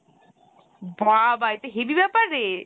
বাবা , এ তো heavy ব্যাপার রে!